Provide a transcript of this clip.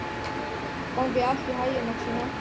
Gangi þér allt í haginn, Maxima.